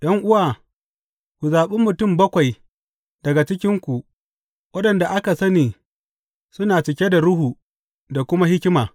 ’Yan’uwa, ku zaɓi mutum bakwai daga cikinku waɗanda aka sani suna cike da Ruhu da kuma hikima.